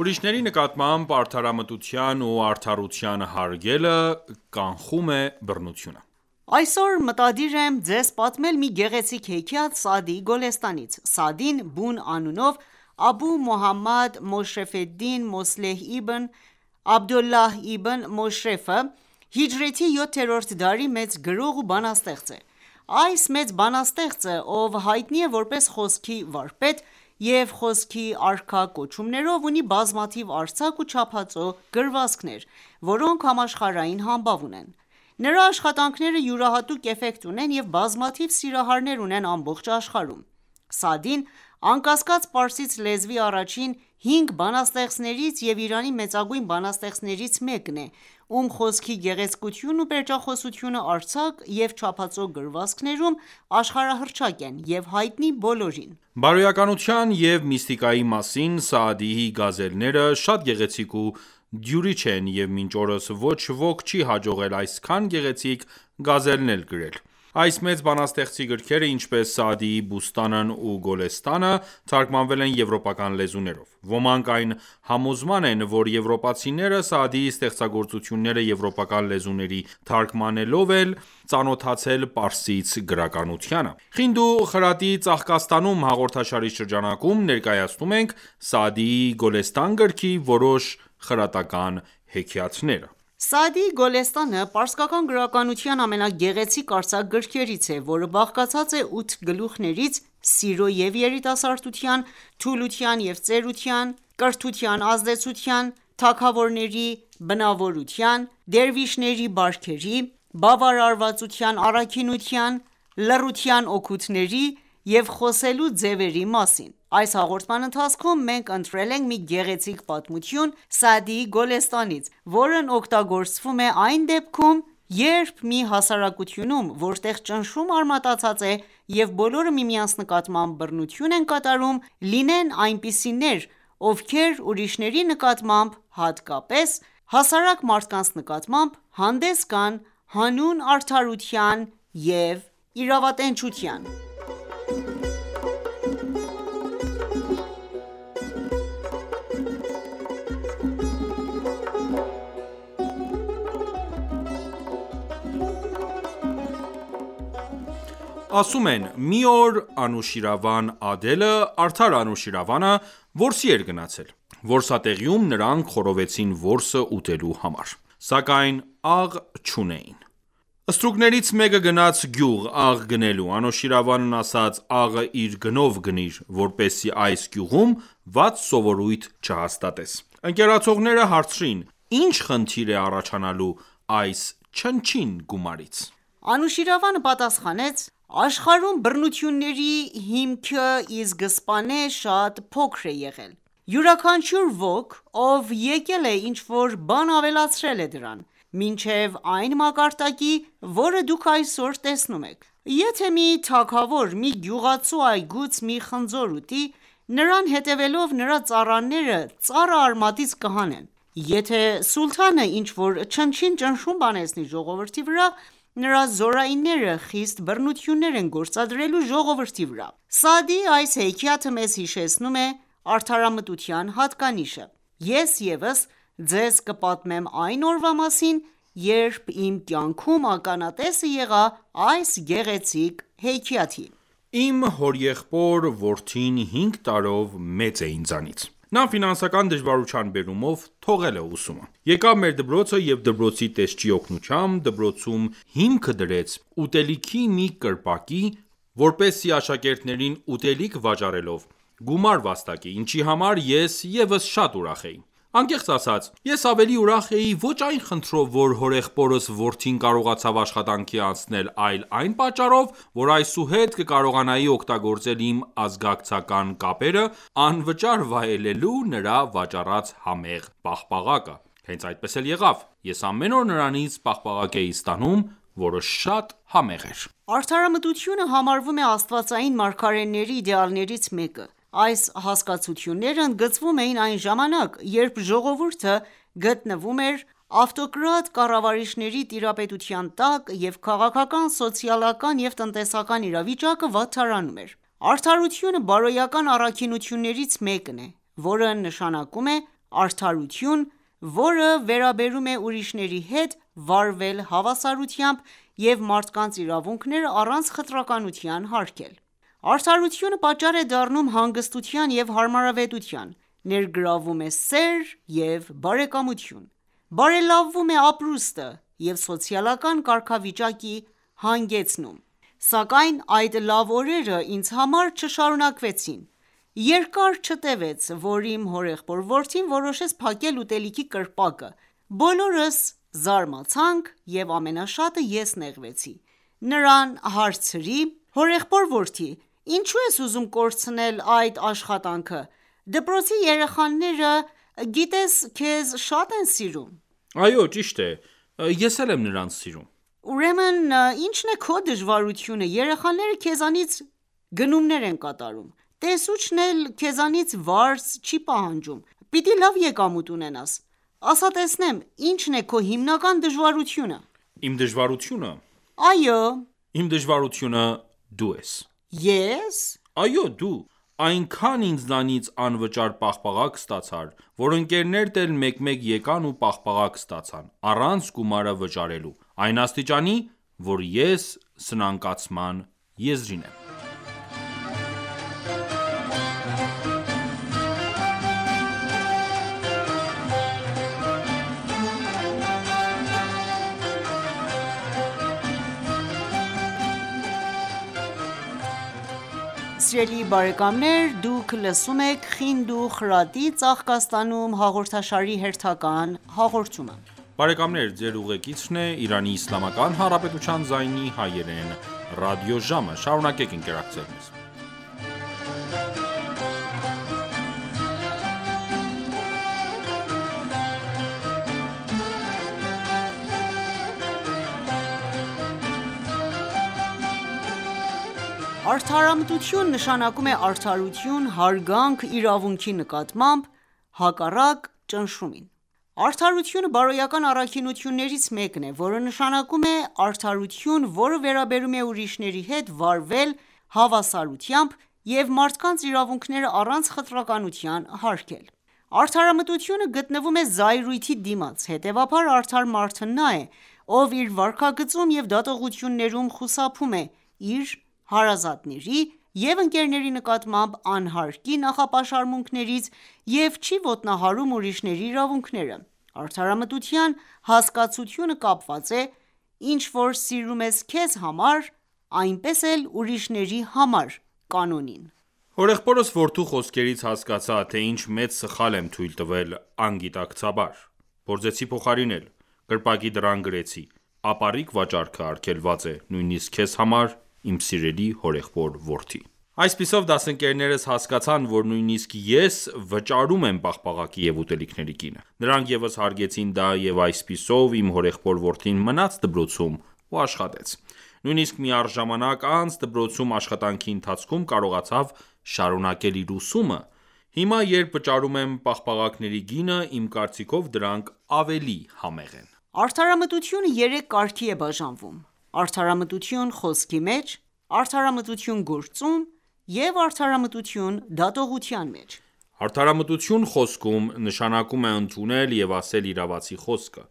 Ուրիշների նկատմամբ արդարամտության ու արդարության hարգելը ,կանխում է բռնությունը: Այսօր մտադիր եմ Ձեզ պատմել մի գեղեցիկ հեքիաթ Սաադիի Գոլեստանից: Սաադին, բուն անունով Աբու Մոհամադ ֆեդդին Մոսլեհ իբն Աբդոլլահ Իբն Մոշրեֆը հիջրեթի 7-րդ դարի մեծ գրող ու բանաստեղծ է:Այս մեծ բանաստեղծը ,ով հայտնի է որպես խոսքի վարպետ, և խոսքի արքա կոչումներով ,ունի բազմաթիվ արձակ ու չափածո գրվածքներ ,որոնք համաշխարհային համբավ ունեն: Նրա աշխատանքները յուրահատուկ էֆեկտ ունեն և բազմաթիվ սիրահարներ ունեն ամբողջ աշխարհում:Սաադին անկասկած պարսից լեզվի առաջին հինգ բանաստեղծներից և Իրանի մեծագույն բանաստեղծներից մեկն է,ում խոսքի գեղեցկությունն ու պերճախոսությունը արձակ ու չափածո գրվածքներում աշխարհահռչակ են եւ հայտնի բոլորին: Բարոյականության և միստիկայի մասին Սաադիի գազելները ,շատ գեղեցիկ ու դյութիչ են և մինչ օրս ոչ ոք չի հաջողել այսքան գեղեցիկ գազելներ գրել: Այս մեծ բանաստեղծի գրքերը, ինչպես Սաադիի Բուստանն ու Գոլեստանը ,թարգմանվել են եվրոպական լեզուներով: Ոմանք այն համոզման են ,որ եվրոպացիները Սաադիի ստեղծագործությունները եվրոպական լեզուների թարգմանելով են ծանոթացել պարսից գրականությանը: «Խինդ ու խրատի ծաղկաստանում »հաղորդաշարի շրջանակում ներկայացնում ենք Սաադիի Գոլեստան գրքի որոշ խրատական հեքիաթները: «Սաադիի Գոլեստանը» պարսկական գրականության ամենաազդեցիկ արձակ գրքերից է, որը բաղկացած է ութը գլուխներից ՝ սիրո և երիտասարդության, թուլության և ծերության, կրթության ազդեցության, թագավորների բնավորության, դերվիշների բարքերի, բավարարվածության առաքինության ,լռության օգուտների և խոսելու ձևերի մասին: Այս հաղորդման ընթացքում մենք ընտրել ենք մի գեղեցիկ պատմություն Սաադիի Գոլեստանից, որն օգտագործվում է այն դեպքում, երբ մի հասարակությունում, որտեղ ճնշումը արմատացած է, և բոլորը միմյանց նկատմամբ բռնություն են կատարում, լինեն այնպիսիներ, ովքեր ուրիշների նկատմամբ, հատկապես հասարակ մարդկանց նկատմամբ հանդես գան հանուն արդարության և իրավատենչության: Ասում են՝ մի օր Անուշիրվան Ադելը(Արդար Անուշիրավանը) որսի էր գնացել: Որսատեղիում, նրանք խորովեցին որսը ուտելու համար։ Սակայն աղ չունեին: Ստրուկներից մեկը գնաց գյուղ՝ աղ գնելու: Անուշիրվանն ասաց՝ աղը իր գնով գնիր, որպեսզի այս գյուղում վատ սովորույթ չհաստատես: Ընկերակցողները հարցրին՝ ի՞նչ խնդիր է առաջանալու այս չնչին գումարից։ Անուշիրվանը պատասխանեց ՝ աշխարհում բռնությունների հիմքը ի սկզբանե շատ փոքր է եղել: Յուրաքանչյուր ոք, ով եկել է, ինչ-որ բան ավելացրել է դրան, մինչև այն մակարդակի, որը դուք այսօր տեսնում եք:Եթե մի թագավոր մի գյուղացու այգուց մի խնձոր ուտի, նրան հետևելով ,նրա ծառաները ծառը արմատից կհանեն: Եթե սուլթանը ինչ որ չնչին ճնշում բանեցնի ժողովրդի վրա, նրա զորայինները խիստ բռնություններ են գործադրելու ժողովրդի վրա: Սաադիի այս հեքիաթը ,մեզ հիշեցնում է արդարամտության հատկանիշը: Ես ևս ձեզ կպատմեմ այն օրվա մասին ,երբ իմ կյանքում ականատեսը եղա այս գեղեցիկ հեքիաթի: Իմ հորեղբոր որդին հինգ տարով մեծ է ինձանից: Նա ֆինանսական դժվարության բերումով թողել է ուսումը: Եկավ մեր դպրոցը և դպրոցի տեսչի օգնությամբ ,դպրոցում հիմքը դրեց ուտելիքի մի կրպակի, որպեսզի աշակերտներին ուտելիք վաճառելով ,գումար վաստակի, ինչի համար ես ևս շատ ուրախ էի: Անկեղծ ասած, ես ավելի ուրախ էի ոչ այն խնդրով ,որ հորեղբորս որդին կարողացավ աշխատանքի անցնել, այլ այն պատճառով ,որ այսուհետ կկարողանայի օգտագործել իմ ազգակցական կապերը, անվճար վայելելու նրա վաճառած համեղ պաղպաղակը։ Հենց այդպես էլ եղավ: Ես ամեն օր նրանից պաղպաղակ էի ստանում, որը շատ համեղ էր: Արդարամտությունը համարվում է Աստվածային մարգարեների իդեալներից մեկը: Այս հասկացությունները ընդգծվում էին այն ժամանակ, երբ ժողովուրդը գտնվում էր ավտոկրատ կառավարիչների տիրապետության տակ, և քաղաքական, սոցիալական և տնտեսական իրավիճակը վատթարանում էր: Արդարությունը բարոյական առաքինություններից մեկն է, որը նշանակում է արդարություն, որը վերաբերում է ուրիշների հետ վարվել հավասարությամբ և մարդկանց իրավունքները առանց խտրականության հարգել: Արդարությունը պատճառ է դառնում հանգստության ու հարմարավետության, ներգրավում է սեր և բարեկամություն, բարելավում է ապրուստը և սոցիալական կարգավիճակի հանգեցնում: Սակայն այդ լավ օրերը ինձ համար չշարունակվեցին: Երկար չտևեց որ իմ հորեղբոր որդին որոշեց փակել ուտելիքի կրպակը: Բոլորս զարմացանք և ամենաշատը ես նեղվեցի: Նրան հարցրի՝. Հորեղբոր որդի ,ի՞նչու ես ուզում կորցնել այս աշխատանքը: Դպրոցի երեխաները գիտես քեզ շատ են սիրում: --Այո ճիշտ է.Ես էլ եմ նրանց սիրում: --Ուրեմն ի՞նչն է քո դժվարությունը: Երեխաները քեզանից գնումներ են կատարում, Տեսուչն էլ քեզանից վարձ չի պահանջում, պիտի լավ եկամուտ ունենաս: Ասա տեսնեմ ,ի՞նչ է քո հիմնական դժվարությունը: --Իմ դժվարությունը: --Այո: --Իմ դժվարությունը դու ես: --Ե՞ս --Այո ,դու: Այնքան ինձանից անվճար պաղպաղակ ստացար, որ ընկերներդ էլ մեկ մեկ եկան ու պաղպաղակ ստացան ,առանց գումարը վճարելու :Այն աստիճանի որ ես սնանկացման եզրին եմ: Արդարամտություն ,նշանակում է արդարություն, հարգանք իրավունքի նկատմամբ, հակառակ ճնշումին: Արդարությունը բարոյական առաքինություններից մեկն է, որը նշանակում է արդարություն, որը վերաբերում է ուրիշների հետ վարվել հավասարությամբ և մարդկանց իրավունքները առանց խտրականության հարգել: Արդարամտությունը գտնվում է զայրույթի դիմաց, հետևաբար, արդար մարդն նա է, ով իր վարքագծում և դատողություններում խուսափում է իր, հարազատների և ընկերների նկատմամբ անհարկի նախապաշարմունքներից և չի ոտնահարում ուրիշների իրավունքները: Արդարամտության հասկացությունը կապված է «Ինչ որ սիրում ես քեզ համար, այնպես էլ ուրիշների համար» կանոնին։ Հորեղբորս որդու խոսքերից հասկացա, թե ինչ մեծ սխալ եմ թույլ տվել անգիտակցաբար։ Փորձեցի փոխարինել: Կրպակի դռան գրեցի.«ապառիկ վաճառքը արգելված է ,նույնիսկ քեզ համար ,իմ սիրելի հորեղբոր որդի»:Այսպիսով դասընկերներս հասկացան ,որ նույնիսկ ես վճարում եմ պաղպաղակի և ուտելիքների գինը: Նրանք ևս հարգեցին դա և այսպիսով իմ հորեղբոր որդին մնաց դպրոցում ու աշխատեց: Նույիսնկ մի առ ժամանակ անց դպրոցում աշխատանքի ընթացքում, կարողացավ շարունակել իր ուսումը: Հիմա երբ վճարում եմ պաղպաղակների գինը ,իմ կարծիքով դրանք ավելի համեղ են: Արդարամտությունը երեք կարգի է բաժանվում:Արդարամտություն խոսքի մեջ, արդարամտություն ՝գործում և Արդարամտություն դատողության մեջ: --Արդարամտություն խոսքում. նշանակում է ընդունել և ասել իրավացի խոսքը